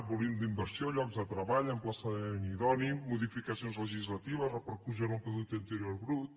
volum d’inversió llocs de treball emplaçament idoni modificacions legislatives repercussió en el producte interior brut